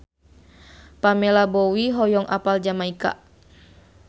Pamela Bowie hoyong apal Jamaika